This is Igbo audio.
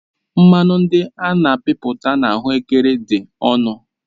Mmanụ ndị a na-amịpụta na ahuekere dị ọnụ